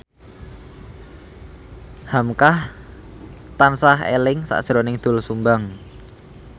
hamka tansah eling sakjroning Doel Sumbang